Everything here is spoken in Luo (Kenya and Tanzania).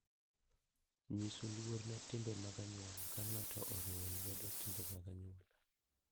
Nyiso luor ne timbe mag anyuola ka ng'ato oriwo lwedo timbe mag anyuola.